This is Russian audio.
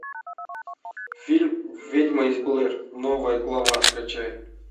фильм ведьма из блэр новая глава скачай